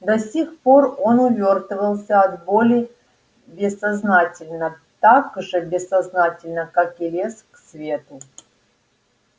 до сих пор он увёртывался от боли бессознательно так же бессознательно как и лез к свету